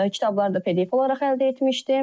Kitabları da PDF olaraq əldə etmişdim.